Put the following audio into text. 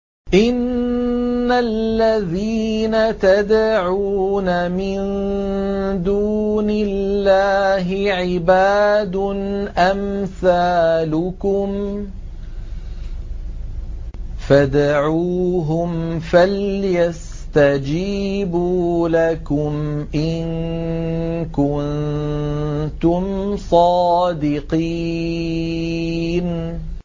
إِنَّ الَّذِينَ تَدْعُونَ مِن دُونِ اللَّهِ عِبَادٌ أَمْثَالُكُمْ ۖ فَادْعُوهُمْ فَلْيَسْتَجِيبُوا لَكُمْ إِن كُنتُمْ صَادِقِينَ